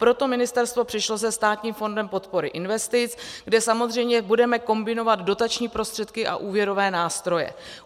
Proto ministerstvo přišlo se Státním fondem podpory investic, kde samozřejmě budeme kombinovat dotační prostředky a úvěrové nástroje.